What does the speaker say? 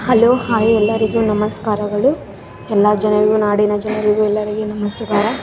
hello hi ಎಲ್ಲರಿಗು ನಮಸ್ಕಾರಗಳು ಎಲ್ಲ ಜನರಿಗೆ ನಾಡಿನ ಜನರಿಗೆ ಎಲ್ಲರಿಗೆ ನಮಸ್ಕಾರ --